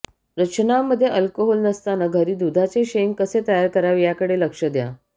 रचनामध्ये alcohol नसताना घरी दुधाचे शेंग कसे तयार करावे याकडे लक्ष द्या